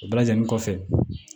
O bɛɛ lajɛlen kɔfɛ